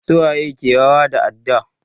Su waye ke yawo da adda?